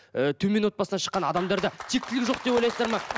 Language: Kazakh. ы төмен отбасынан шыққан адамдарда тектілік жоқ деп ойлайсыздар ма